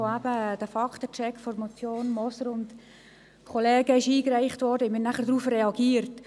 Als der Faktencheck der Motion Moser und Kollegen eingereicht wurde, haben wir darauf reagiert.